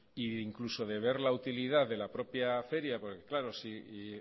e incluso de ver la utilidad de la propia feria porque claro si